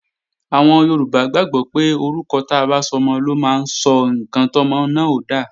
Àwọn Yorùbá gbàgbọ́ pé orúkọ ta bá sọmọ ló máa sọ ǹkan tọ́mọ náà ó dà